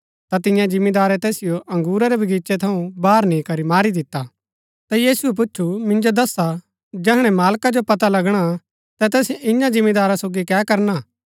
ता तियें जिमीदारै तैसिओ बगीचे थऊँ बाहर नी करी मारी दिता ता यीशुऐ पुछु मिन्जो दस्सा जैहणै तैस मालका जो पता लगणा ता तैस ईयां जिमीदारा सोगी कै करणा